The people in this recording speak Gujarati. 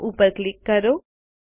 નો ઉપર ક્લિક કરો